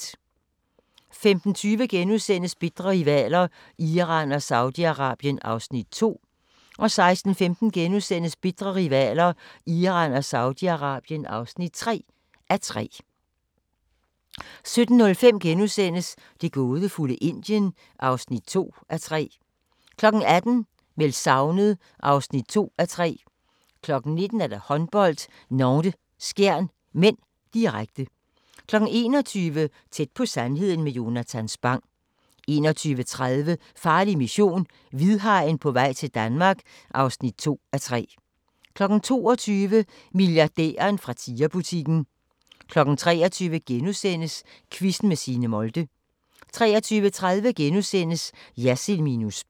15:20: Bitre rivaler: Iran og Saudi-Arabien (2:3)* 16:15: Bitre rivaler: Iran og Saudi-Arabien (3:3)* 17:05: Det gådefulde Indien (2:3)* 18:00: Meldt savnet (2:3) 19:00: Håndbold: Nantes-Skjern (m), direkte 21:00: Tæt på sandheden med Jonatan Spang 21:30: Farlig mission – hvidhajen på vej til Danmark (2:3) 22:00: Milliardæren fra Tiger-butikken 23:00: Quizzen med Signe Molde * 23:30: Jersild minus spin *